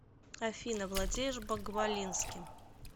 афина владеешь багвалинским